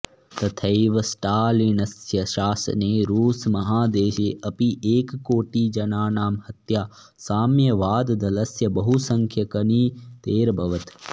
तथैव स्टालिनस्य शासने रूसमहादेशे अपि एककोटिजनानां हत्या साम्यवाददलस्य बहुसंख्यकनीतेरभवत्